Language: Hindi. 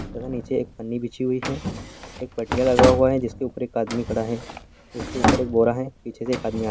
तथा नीचे एक पन्नी बिछी हुई है एक पटियाँ लगा हुआ है जिस के ऊपर एक आदमी खड़ा है इस के ऊपर एक बोरा है पीछे से एक आदमी आ --